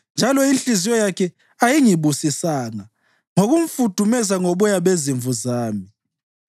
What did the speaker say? njalo inhliziyo yakhe ayingibusisanga ngokumfudumeza ngoboya bezimvu zami,